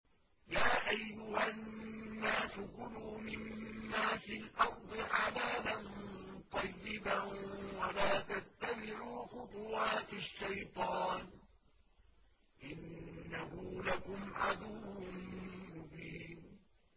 يَا أَيُّهَا النَّاسُ كُلُوا مِمَّا فِي الْأَرْضِ حَلَالًا طَيِّبًا وَلَا تَتَّبِعُوا خُطُوَاتِ الشَّيْطَانِ ۚ إِنَّهُ لَكُمْ عَدُوٌّ مُّبِينٌ